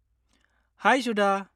-High Sudha!